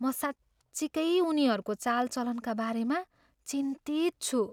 म साँच्चिकै उनीहरूको चालचलनका बारेमा चिन्तित छु।